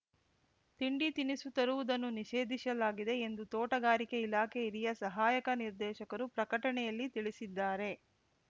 ತಿಂಡಿತಿನಿಸು ತರುವುದನ್ನು ನಿಷೇಧಿಸಲಾಗಿದೆ ಎಂದು ತೋಟಗಾರಿಕೆ ಇಲಾಖೆ ಹಿರಿಯ ಸಹಾಯಕ ನಿರ್ದೇಶಕರು ಪ್ರಕಟಣೆಯಲ್ಲಿ ತಿಳಿಸಿದ್ದಾರೆ